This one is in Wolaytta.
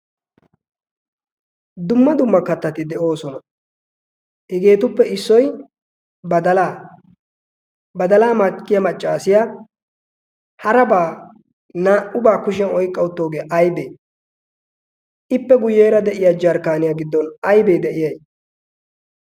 Dumma dumma kattati deosona. Hegettuppe issoy badala. Badala makkiyaa maccasiyaa haraba naa'uba kushshiyan oyqqa uttidogee aybe? Ippe guyyeeraa de'iyaa jarkkaniyaa giddon aybe de'iyay?